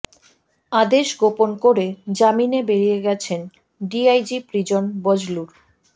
আদেশ গোপন করে জামিনে বেরিয়ে গেছেন ডিআইজি প্রিজন বজলুর